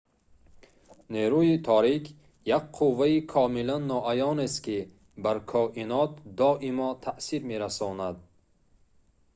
нерӯи торик як қувваи комилан ноаёнест ки бар коинот доимо таъсир мерасонад